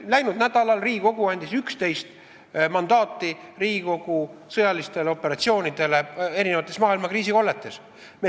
Läinud nädalal andis Riigikogu 11 mandaati osalemiseks sõjalistes operatsioonides maailma eri kriisikolletes.